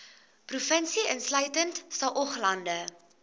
provinsie insluitende saoglande